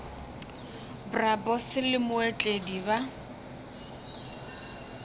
bro boss le mootledi ba